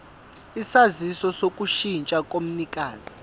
isaziso sokushintsha komnikazi